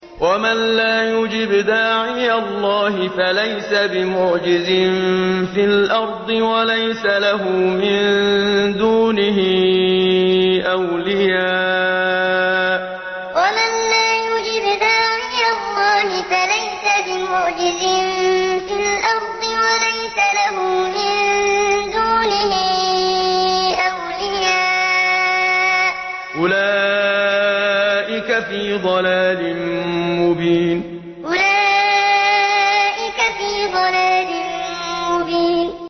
وَمَن لَّا يُجِبْ دَاعِيَ اللَّهِ فَلَيْسَ بِمُعْجِزٍ فِي الْأَرْضِ وَلَيْسَ لَهُ مِن دُونِهِ أَوْلِيَاءُ ۚ أُولَٰئِكَ فِي ضَلَالٍ مُّبِينٍ وَمَن لَّا يُجِبْ دَاعِيَ اللَّهِ فَلَيْسَ بِمُعْجِزٍ فِي الْأَرْضِ وَلَيْسَ لَهُ مِن دُونِهِ أَوْلِيَاءُ ۚ أُولَٰئِكَ فِي ضَلَالٍ مُّبِينٍ